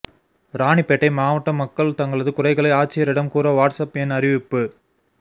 ராணிப்பேட்டை மாவட்ட மக்கள் தங்களது குறைகளை ஆட்சியரிடம் கூற வாட்ஸ்அப் எண் அறிவிப்பு